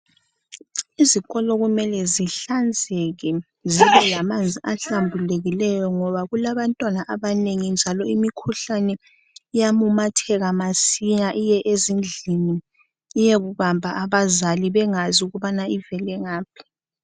Izikolo kumele zihlanzeke, zibe lamanzi ahlambulukileyo ngoba kulabantwana abanengi, njalo imikhuhlane iyamemetheka masinya iye ezindlini, iyebamba abazali bengazi ukuba ivele ngaphi.